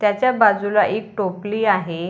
त्याच्या बाजूला एक टोपली आहे.